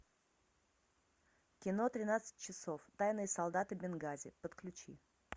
кино тринадцать часов тайные солдаты бенгази подключи